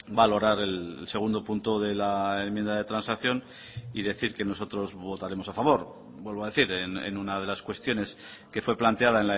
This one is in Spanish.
valorar el segundo punto de la enmienda de transacción y decir que nosotros votaremos a favor vuelvo a decir en una de las cuestiones que fue planteada